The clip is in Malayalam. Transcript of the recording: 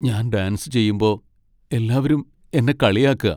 ഞാൻ ഡാൻസ് ചെയ്യുമ്പോ എല്ലാവരും എന്നെ കളിയാക്കാ.